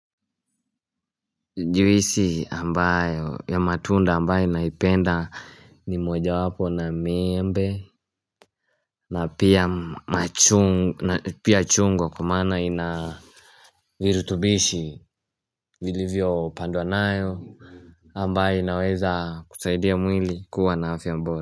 Juisi ambayo ya matunda ambayo naipenda ni mojawapo na miembe na pia chungwa kwa maana ina Virutubishi vilivyopandwa nayo ambayo inaweza kusaidia mwili kuwa na afya bora.